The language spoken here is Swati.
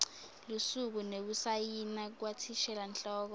lusuku nekusayina kwathishelanhloko